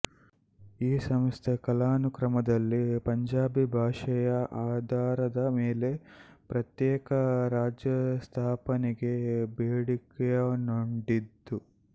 ಈ ಸಂಸ್ಥೆ ಕಾಲಾನುಕ್ರಮದಲ್ಲಿ ಪಂಜಾಬಿ ಭಾಷೆಯ ಆಧಾರದ ಮೇಲೆ ಪ್ರತ್ಯೇಕ ರಾಜ್ಯಸ್ಥಾಪನೆಗೆ ಬೇಡಿಕೆಯನ್ನೊಡ್ಡಿತು